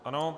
Ano.